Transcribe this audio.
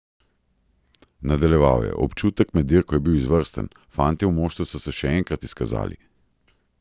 Nadaljeval je: "Občutek med dirko je bil izvrsten, fantje v moštvu so se še enkrat izkazali.